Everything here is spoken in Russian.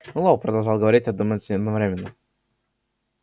мэллоу продолжал говорить и думать одновременно